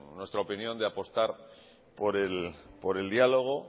en nuestra opinión de apostar por el diálogo